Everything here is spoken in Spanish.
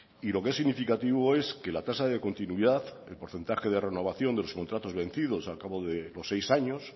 y lo que es significativo es que la tasa de continuidad el porcentaje de renovación de los contratos vencidos al cabo de los seis años